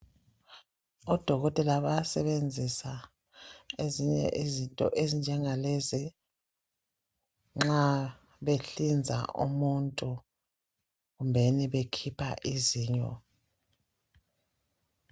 Odokotela bayasebenzisa ezinye izinto ezinjengalezi, nxa behlinza umuntu. Kumbeni bekhipha izinyo.